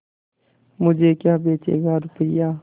मुझे क्या बेचेगा रुपय्या